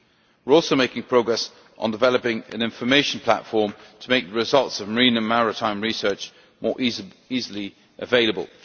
We are also making progress on developing an information platform to make the results of marine and maritime research more easily available.